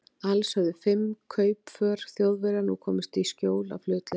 Alls höfðu fimm kaupför Þjóðverja nú komist í skjól af hlutleysi